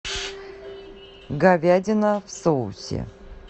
говядина в соусе